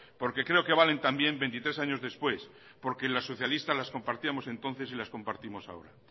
porque creo que valen también veintitrés años después porque los socialistas las compartíamos entonces y las compartimos ahora